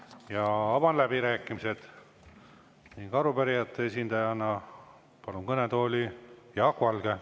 Avan läbirääkimised ning palun kõnetooli arupärijate esindaja Jaak Valge.